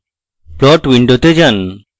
plot window যান